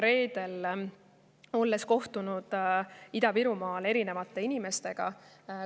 Reedel ma kohtusin Ida-Virumaal erinevate inimestega.